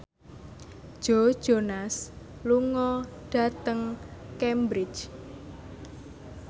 Joe Jonas lunga dhateng Cambridge